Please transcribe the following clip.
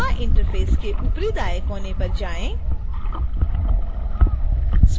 koha interface के ऊपरी दाएँ कोने पर जाएँ